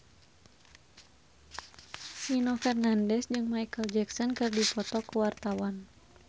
Nino Fernandez jeung Micheal Jackson keur dipoto ku wartawan